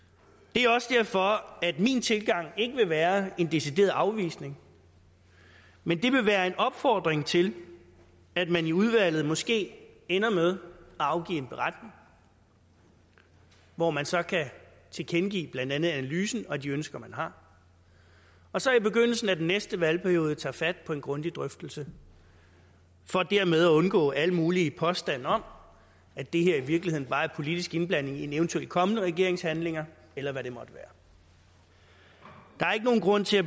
er også derfor at min tilgang ikke vil være en decideret afvisning men vil være en opfordring til at man i udvalget måske ender med at afgive en beretning hvor man så kan tilkendegive blandt andet analysen og de ønsker man har og så i begyndelsen af den næste valgperiode tage fat på en grundig drøftelse for dermed at undgå alle mulige påstande om at det her i virkeligheden bare er politisk indblanding i en eventuel kommende regerings handlinger eller hvad det måtte være der er ikke nogen grund til at